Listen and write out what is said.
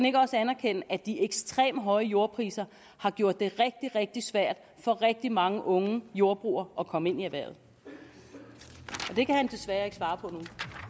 ikke også anerkende at de ekstremt høje jordpriser har gjort det rigtig rigtig svært for rigtig mange unge jordbrugere at komme ind i erhvervet det kan han desværre ikke svare på nu